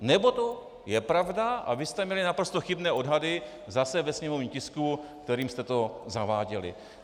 Nebo to je pravda a vy jste měli naprosto chybné odhady zase ve sněmovním tisku, kterým jste to zaváděli.